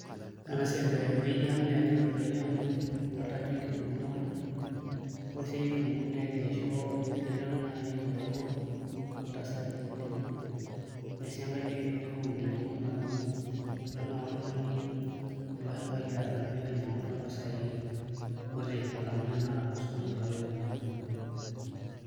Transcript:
Ore ena siai tewueji aang' naa kegira aitobirari amu dolta ajo nkitunguuni kuna, ore esiai e kitunguu naa kegira aisho elelero naai kibara ontasati temurua ore sii enkae naa keleleku enkinyiang'unoto amu kulo shambaai ate nilo ainyiang'u toompisaai kuti alang'u naai tenaa tosoko intoki alo ainyiang'u.